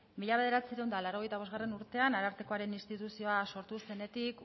mila bederatziehun eta laurogeita bostgarrena urtean arartekoaren instituzioa sortu zenetik